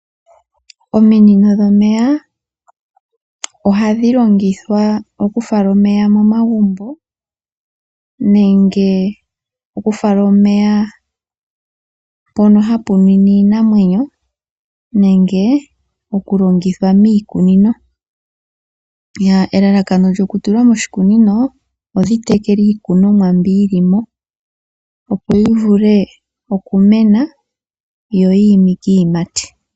Ominino dhomeya ohadhi longithwa oku fala omeya momagumbo nenge oku fala omeya mpoka hapu nwine iinamwenyo nenge oku longitha miikunino. Elalakano dhoku tulwa moshikunino, oku tekela iikunomwa mbyoka yilimo, opo yi vule oku mena, yo yiimike iiyimati.